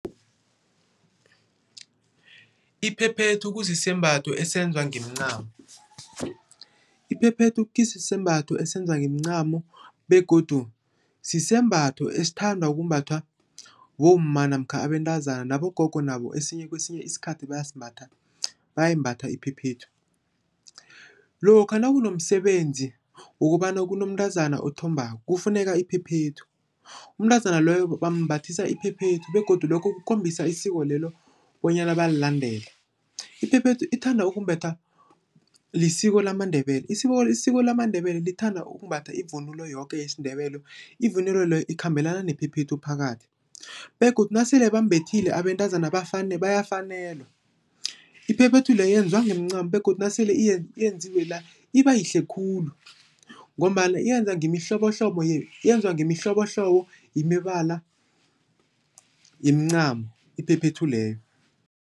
Iphephethu kusisembatho esenziwa ngemincamo. Iphephethu kusisembatho esenziwa ngemincamo begodu sisembatho esithandwa ukumbathwa bomma namkha abentazana nabogogo nabo esinye kwesinye isikhathi bayasimbatha, bayayimbatha iphephethu. Lokha nakunomsebenzi wokobana kunomntazana othombako, kufuneka iphephethu. Umntazana loyo bambathisa iphephethu begodu lokho kukhombisa isiko lelo bonyana bayalilandela. Iphephethu ithanda ukumbathwa lisiko lamaNdebele. Isiko lamaNdebele lithanda ukumbatha ivunulo yoke yesiNdebele, ivunulo leyo ikhambelana nephephethu phakathi begodu nasele bambethile abentazana bayafanelwa. Iphephethu le yenziwa ngomncamo begodu nasele iyenziwe la, ibayihle khulu ngombana yenza ngemihlobohlobo yenziwa ngemihlobohlobo yemibala yemincamo iphephethu leyo.